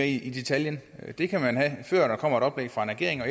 i detaljen det kan man have før der kommer et oplæg fra en regering og